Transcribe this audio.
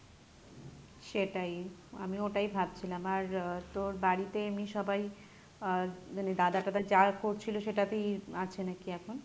সেটাই আমিও ওটাই ভাবছিলাম আর আহ তোর বাড়িতে এমনি সবাই আহ মানে দাদা টাদা যা করছিলো সেটাতেই আছে নাকি এখন?